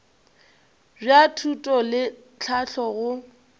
bja thuto le tlhahlo go